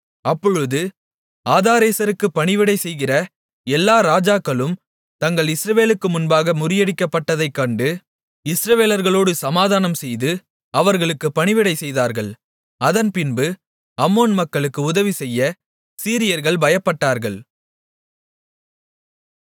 அப்பொழுது ஆதாரேசருக்கு பணிவிடை செய்கிற எல்லா ராஜாக்களும் தாங்கள் இஸ்ரவேலுக்கு முன்பாக முறியடிக்கப்பட்டதைக் கண்டு இஸ்ரவேலர்களோடு சமாதானம்செய்து அவர்களுக்கு பணிவிடை செய்தார்கள் அதன்பின்பு அம்மோன் மக்களுக்கு உதவிசெய்ய சீரியர்கள் பயப்பட்டார்கள்